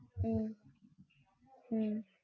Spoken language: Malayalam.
p